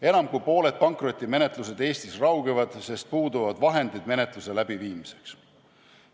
Enam kui pooled pankrotimenetlused Eestis raugevad, sest puuduvad vahendid menetluse läbiviimiseks.